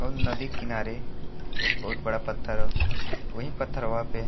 और एक नदी किनारे एक बहुत बड़ा पत्थर ह। ओहि पथरवा पे --